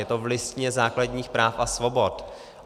Je to v Listině základních práv a svobod.